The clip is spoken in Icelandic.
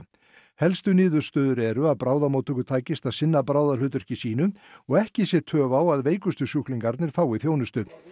helstu niðurstöður eru að bráðamóttöku takist að sinna sínu og ekki sé töf á að veikustu sjúklingarnir fái þjónustu